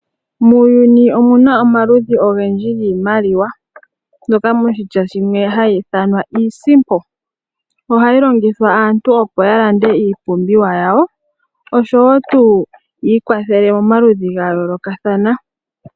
Muuyuni omuna omaludhi ogendji giimaliwa mbyoka noshitya shimwe hayi ithanwa iisimpo. Ohayi longithwa aantu opo ya lamda iipumbiwa yawo oshowo tuu ya ikwathele momaludhi ga yoolokathana.